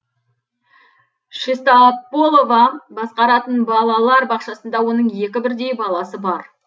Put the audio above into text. шеста полова басқаратын балалар бақшасында оның екі бірдей баласы бар